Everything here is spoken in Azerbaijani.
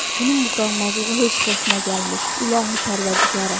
Bunun bu qanmazlığı heç xoşuma gəlmir, ilahi pərvərdigara.